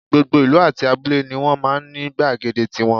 Gbogbo ìlú àti abúlé ni wọ́n máa ń ní gbàgede tiwọn